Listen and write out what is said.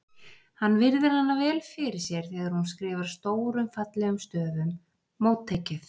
Hann virðir hana vel fyrir sér þegar hún skrifar stórum fallegum stöfum: Móttekið